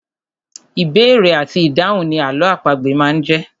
Ìbéèrè àti ìdáhùn ni àlọ́ àpagbè máa ń jẹ́.